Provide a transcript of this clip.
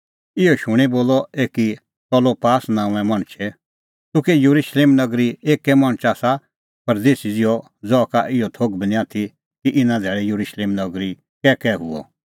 इहअ शूणीं बोलअ एकी कलोपास नांओंए मणछै तूह कै येरुशलेम नगरी एक्कै मणछ आसा परदेसी कि ज़हा का इहअ थोघ बी निं आथी कि इना धैल़ै येरुशलेम नगरी कैकै हुअ